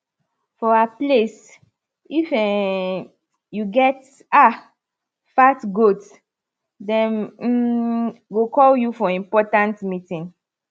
for our place if um you get um fat goat dem um go call you for important meeting